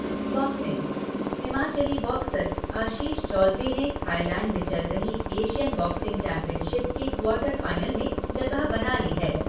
Boxing Himachali boxer Ashish Chaudhary ने Thailand में चल रही एशियन बॉक्सिंग चैंपियनशिप के क्वार्टर फ़ाइनल में जगह बना ली है।